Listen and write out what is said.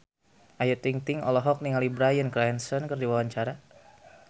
Ayu Ting-ting olohok ningali Bryan Cranston keur diwawancara